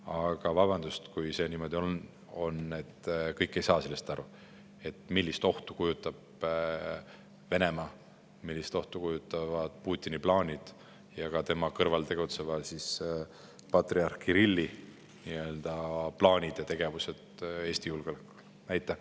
Aga vabandust, kui see niimoodi on, et kõik ei saa sellest aru, millist ohtu kujutab Venemaa, millist ohtu kujutavad Putini ja ka tema kõrval tegutseva patriarh Kirilli plaanid ja tegevused Eesti julgeolekule?